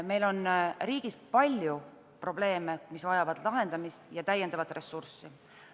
Meil on riigis palju probleeme, mis vajavad lahendamist ja lisaressurssi.